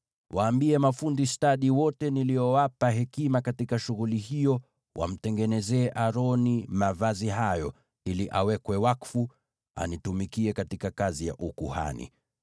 Waambie mafundi stadi wote niliowapa hekima katika shughuli hiyo wamtengenezee Aroni mavazi hayo, ili awekwe wakfu, anitumikie katika kazi ya ukuhani.